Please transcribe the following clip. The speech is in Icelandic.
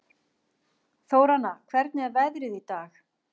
Þóranna, hvernig er veðrið í dag?